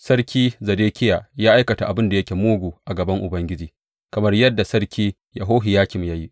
Sarki Zedekiya ya aikata abin da yake mugu a gaban Ubangiji kamar yadda Sarki Yehohiyakim ya yi.